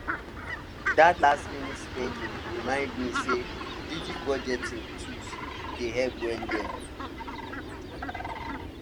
that lastminute spend remind me say digital budgeting tool dey help well well